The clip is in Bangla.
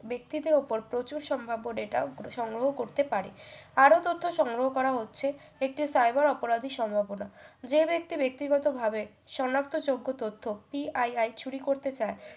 বাক্তিত্তের ওপর প্রচুর সম্ভাব্য data সংগ্রহ করতে পারে আরও তথ্য সংগ্রহ করা হচ্ছে একটি cyber অপরাধী সম্ভবনা যে ব্যক্তি ব্যাক্তিগত ভাবে সনাক্ত যোগ্য তথ্য PII চুরি করতে চায়